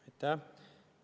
Aitäh!